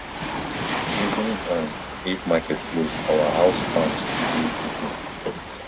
even um if market close our house farm still dey open